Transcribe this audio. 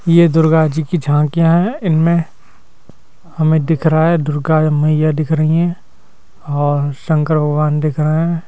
ये दुर्गा जी की झांकियां हैं इनमें हमें दिख रहा है दुर्गा मैया दिख रही हैं और शंकर भगवान दिख रहे हैं।